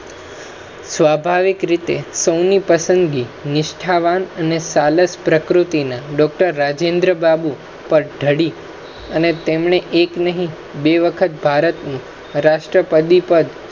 સ્વાભાવિક રીતે સૌની પસંદગી નિષ્ઠાવાન આને સાલસપ્રકૃતિના Doctor રાજેન્દ્ર બાબુ પદ ઢડી અને તેમને એક નહીં બે વખત ભારતની રાષ્ટ્રપતિ પદ,